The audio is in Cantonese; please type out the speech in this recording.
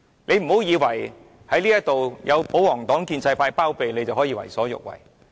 你不要以為有保皇黨、建制派包庇你，你便可以為所欲為。